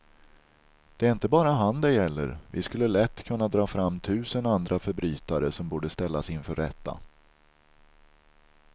Det är inte bara han det gäller, vi skulle lätt kunna dra fram tusen andra förbrytare som borde ställas inför rätta.